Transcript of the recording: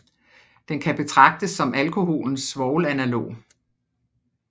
Den kan betragtes som alkoholens svovlanalog